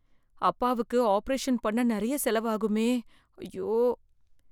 அப்பாவுக்கு ஆபரேஷன் பண்ண நெறைய செலவு ஆகுமே, அய்யோ.